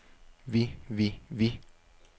vi vi vi